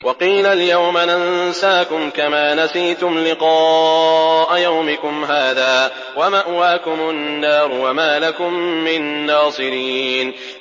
وَقِيلَ الْيَوْمَ نَنسَاكُمْ كَمَا نَسِيتُمْ لِقَاءَ يَوْمِكُمْ هَٰذَا وَمَأْوَاكُمُ النَّارُ وَمَا لَكُم مِّن نَّاصِرِينَ